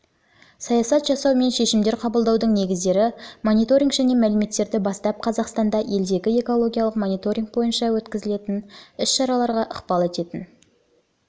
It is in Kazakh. саясат жасау мен шешімдер қабылдаудың негіздері мониторинг және мәліметтер бастап қазақстанда елдегі экологиялық мониторинг бойынша өткізілетін іс-шараларға ықпал ететін